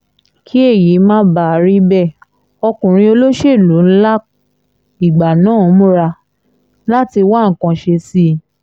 kí èyí má bàa rí bẹ́ẹ̀ ọkùnrin olóṣèlú ńlá ìgbà náà múra láti wá nǹkan ṣe sí i